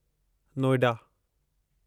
Noida